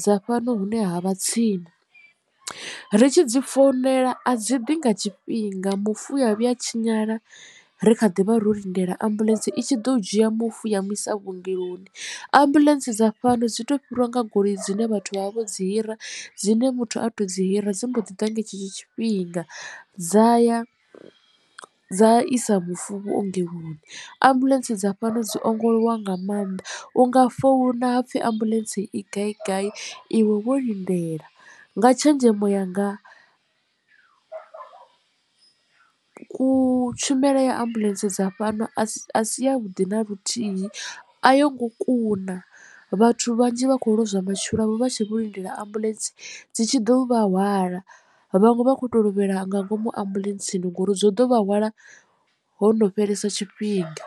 dza fhano hune ha vha tsini ri tshi dzi founela a dzi ḓi nga tshifhinga mufu u avhuya a tshinyala ri kha ḓi vha ro lindela ambuḽentse itshi ḓo dzhia mufu ya mu isa vhuongeloni ambuḽentse dza fhano dzi to fhiriwa nga goloi dzine vhathu vha vha vho dzi hira dzine muthu a to dzi hira dzi mbo ḓi ḓa nga tshetsho tshifhinga dza ya dza isa mufu vhuongeloni. Ambuḽentse dza fhano dzi ongolowa nga maanḓa u nga founa hapfi ambuḽentse i gai gai iwe wo lindela nga tshenzhemo yanga tshumelo ya ambuḽentse dza fhano a si yavhuḓi na luthihi a yo ngo kuna vhathu vhanzhi vha khou lozwa matshilo avho vha tshe vho lindela ambuḽentse dzi tshi ḓo vha hwala vhaṅwe vha kho to lovhela nga ngomu ambuḽentseni ngori dzo ḓo vha hwala ho no fhelesa tshifhinga.